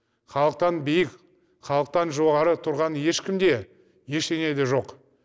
халықтан биік халықтан жоғары тұрған ешкім де ештеңе де жоқ